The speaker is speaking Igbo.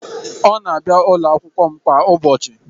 Ọ na-abịa n'ụlọ akwụkwọ m kwa ụbọchị